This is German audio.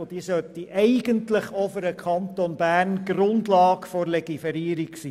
Eigentlich sollte sie auch für den Kanton Bern die Grundlage für die Legiferierung sein.